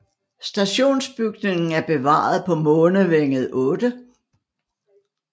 Stationsbygningen er bevaret på Månevænget 8